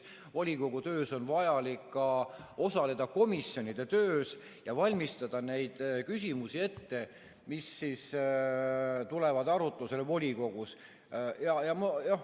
Volikogu töös on vaja osaleda komisjonide töös ja valmistada neid küsimusi ette, mis tulevad arutusele volikogus.